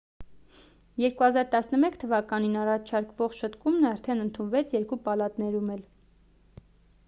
2011 թվականին առաջարկվող շտկումն արդեն ընդունվեց երկու պալատներում էլ